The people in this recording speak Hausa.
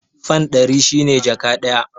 Fan ɗari shi ne jaka ɗaya.